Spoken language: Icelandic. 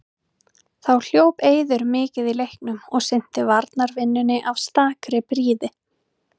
Þá hljóp Eiður mikið í leiknum og sinnti varnarvinnunni af stakri prýði.